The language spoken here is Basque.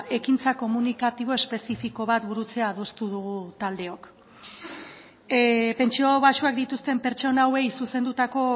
ekintza komunikatibo espezifiko bat burutzea adostu dugu taldeok pentsio baxuak dituzten pertsona hauei zuzendutako